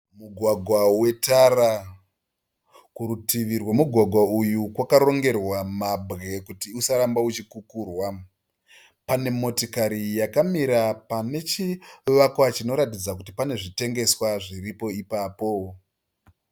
Mugwagwa wetara kurutivi rwe mugwagwa uyu kwakarongerwa mabwe kuti usarambe uchikukurwa. Pane motikari yakamira panechivakwa chinoratidza kuti pane zvitengeswa zviripo ipapo.